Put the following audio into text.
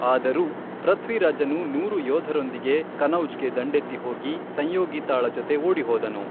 ಆದರೂ, ಪೃಥ್ವಿರಾಜನು ನೂರು ಯೋಧರೊಂದಿಗೆ ಕನೌಜ್ಗೆ ದಂಡೆತ್ತಿ ಹೋಗಿ, ಸಂಯೋಗಿತಾಳ ಜೊತೆ ಓಡಿಹೋದನು.